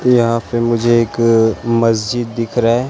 यहां पे मुझे एक मस्जिद दिख रा--